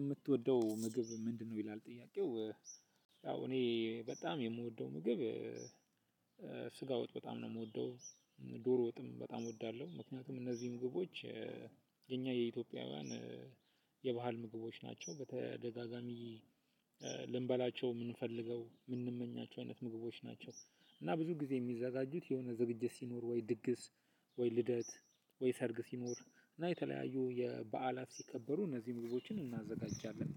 የምትወደው ምግብ ምንድነው? ይላል ጥያቄው፤ ያው እኔ በጣም የምወደው ምግብ። ስጋ ወጥ በጣም ነው የምወደው፤ ዶሮ ወጥም በጣም እወዳለሁ፤ ምክንያቱም እነዚህ ምግቦች የኛ የኢትዮጵያውያን የባህል ምግቦች ናቸው፤ በተደጋጋሚ ልንበላቸው የምንፈልገው ምንመኛቸው አይነት ምግቦች ናቸው፤ እና ብዙ ጊዜ የሚዘጋጁት የሆነ ዝግጅት ሲኖር ወይ ድግስ፣ ወይ ልደት፣ ወይ ሰርግ፣ ሲኖር እና የተለያዩ የበዓላት ሲከበሩ እነዚህን ምግቦችን እናዘጋጃለን፤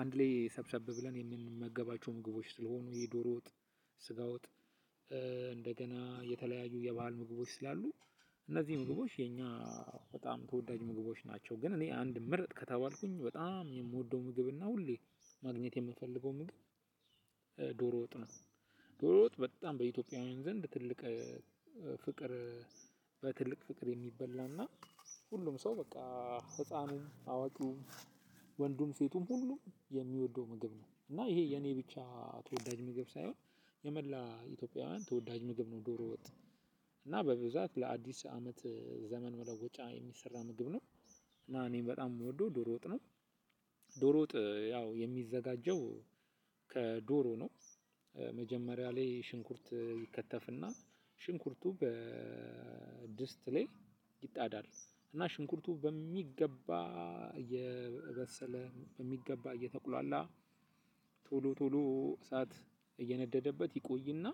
አንድ ላይ ሰብሰብ ብለን የምንመገባቸውን ምግቦች ስለሆኑ፤ የዶሮ ወጥ፤ ስጋ ውጥ። እንደገና የተለያዩ የባህል ምግቦች ስላሉ እነዚህ ምግቦች የኛ በጣም ተወዳጅ ምግቦች ናቸው፤ ግን እኔ አንድ ምርጥ ከተባልኩኝ በጣም የምወደው ምግብና ሁሌ ማግኘት የምፈልገው ምግብ ዶሮ ወጥ ነው፤ ዶሮ ወጥ በጣም በኢትዮጵያውያን ዘንድ ትልቅ ፍቅር በትልቅ ፍቅር የሚበላ እና ሁሉም ሰው በቃ ህጻኑም፣ አዋቂዉም፣ ወንዱም፣ ሴቱም ሁሉም የሚወደው ምግብ ነው፤ እና ይሄ የኔ ብቻ ተወዳጅ ምግብ ሳይሆን የመላ ኢትዮጵያውያን ተወዳጅ ምግብ ነው ዶሮ ወጥ፤ እና በብዛት ለአዲስ አመት ዘመን መለወጫ የሚሰራ ምግብ ነው። እና እኔም በጣም የምወደው ዶሮ ወጥ ነው፤ ዶሮ ወጥ ያው የሚዘጋጀው ከዶሮ ነው፤ መጀመሪያ ላይ ሽንኩርት ይከተፍና ሽንኩርቱ በድስት ላይ ይጣዳል፤ እና ሽንኩርቱ በሚገባ የበሰለ በሚገባ እየተቁላላ ቶሎ ቶሎ እሳት እየነደደበት ይቆይና፤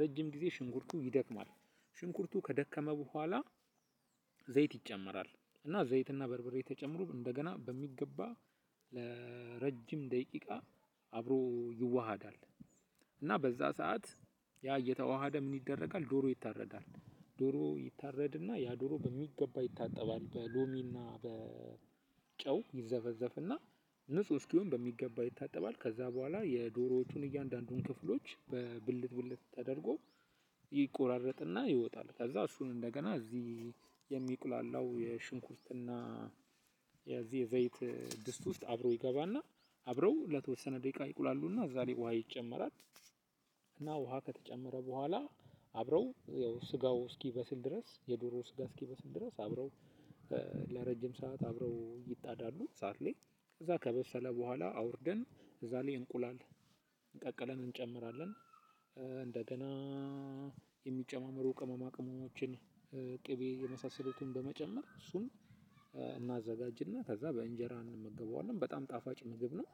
ረጅም ጊዜ ሽንኩርቱ ይደክማል፤ ሽንኩርቱ ከደከመ በኋላ ዘይት ይጨመራል፤ እና ዘይትና በርበሬ ተጨምሮ እንደገና በሚገባ ለረጅም ደቂቃ አብሮ ይዋሃዳል፤ እና በዛ ሰዓት ያ እየተዋሃደ ምን ይደረጋል ዶሮ ይታረዳል፤ ዶሮ ይታረድና ያ ዶሮ በሚገባ ይታጠባል፤ በሎሚ እና በጨው ይዘፈዘፍና ንጹህ እስኪሆን በሚገባ ይታጠባል፤ ከዛ በኋላ የዶሮቹን እያንዳንዱን ክፍሎች በብልት ብልት ተደርጎ ይቆራረጥና ይወጣል፤ ከዛ እሱን እንደገና እዚህ የሚቁላላው ሽንኩርትና የዚህ የዘይት ድስት ውስጥ አብሮ ይገባና፣ አብረው ለተወሰነ ደቂቃ ይቁላሉና እዛ ላይ ውሃ ይጨመራል። እና ውሃ ከተጨመረ በኋላ አብረው ያው ስጋው እስኪበስል ድረስ የዶሮ ስጋ እስኪበስል ድረስ አብረው ለረጅም ሰዓት አብረው ይጣዳሉ እሳት ላይ፤ ከዛ ከበሰለ በኋላ አውርደን እዛ ላይ እንቁላል ቀቅለን እንጨምራለን፤ እንደገና የሚጨማመሩ ቅመማ ቅመሞችን፤ ቂቤ የመሳሰሉትን በመጨመር እሱን እናዘጋጅና ከዛ በእንጀራ እንመገበዋለን፤ በጣም ጣፋጭ ምግብ ነው።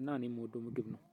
እና እኔ የምወደው ምግብ ነው፤